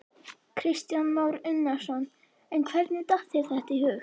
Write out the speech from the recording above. Kristján Már Unnarsson: En hvernig datt þér þetta í hug?